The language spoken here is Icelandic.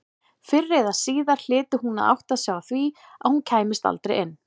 Fyrr eða síðar hlyti hún að átta sig á því að hún kæmist aldrei inn.